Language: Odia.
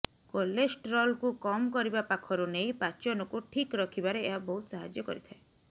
କୋଲେଷ୍ଟ୍ରଲକୁ କମ୍ କରିବା ପାଖରୁ ନେଇ ପାଚନକୁ ଠିକ ରଖିବାରେ ଏହା ବହୁତ ସାହାଯ୍ୟ କରିଥାଏ